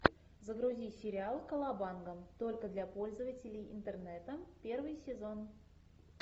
загрузи сериал колобанга только для пользователей интернета первый сезон